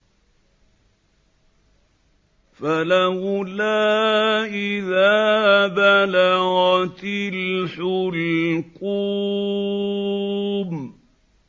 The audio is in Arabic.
فَلَوْلَا إِذَا بَلَغَتِ الْحُلْقُومَ